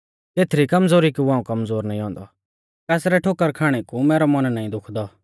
केथरी कमज़ोरी कु हाऊं कमज़ोर नाईं औन्दौ कासरै ठोकर खाणै कु मैरौ मन नाईं दुखदौ